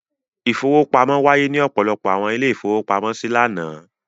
Ìfowópamọ́ wáyé ní ọ̀pọ̀lọpọ̀ àwọn ilé-ìfowópamọ́sí lánàá.